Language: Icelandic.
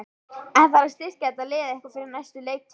En þarf að styrkja þetta lið eitthvað fyrir næstu leiktíð?